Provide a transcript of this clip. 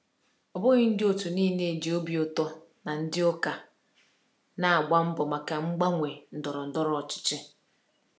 Ọ bụghị ndị otu niile ji obi ụtọ na ndị ụka na-agba mbọ maka mgbanwe ndọrọ ndọrọ ọchịchị.